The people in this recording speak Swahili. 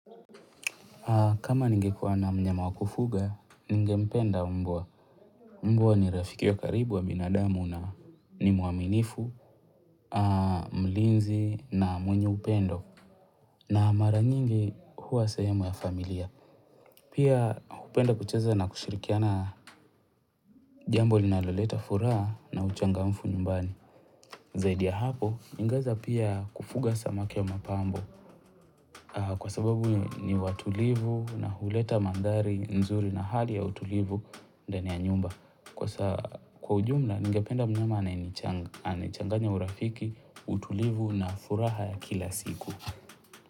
Kama ningekuana mnyama wakufuga, ningempenda mbwa. Mbwaa ni rafiki ya karibu wa binadamu na nimuaminifu, mlinzi na mwenye upendo. Na mara nyingi huwa sehemu ya familia. Pia hupenda kucheza na kushirikiana jambo linaloleta furaha na uchangamfu nyumbani. Zaidi ya hapo, ningeweza pia kufuga samaki ya mapambo. Kwa sababu ni watulivu na huleta mandhari nzuri na hali ya utulivu ndani ya nyumba. Kwa ujumla ningependa mnyama anayechanganya urafiki, utulivu na furaha ya kila siku.